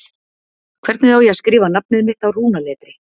Hvernig á ég að skrifa nafnið mitt á rúnaletri?